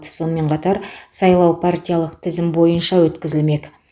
сонымен қатар сайлау партиялық тізім бойынша өткізілмек